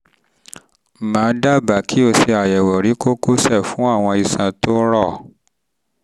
um mà á dábàá pé um kí o ṣe àyẹ̀wò ri kókósẹ̀ fún àwọn iṣan um tó rọ̀